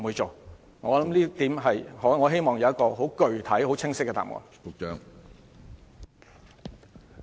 就這一點，我希望有具體、清晰的答覆。